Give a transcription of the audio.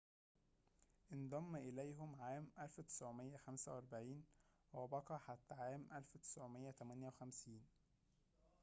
انضم إليهم عام 1945 وبقي حتى عام 1958